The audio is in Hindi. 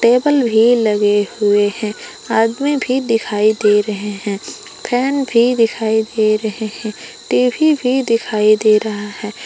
टेबल भी लगे हुए हैं आदमी भी दिखाई दे रहे है फैन भी दिखाई दे रहे है टी_वी भी दिखाई दे रहा है।